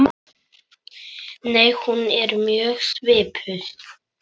Nei, hún er mjög svipuð.